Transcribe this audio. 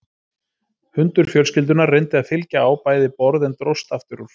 Hundur fjölskyldunnar reyndi að fylgja á bæði borð en dróst aftur úr.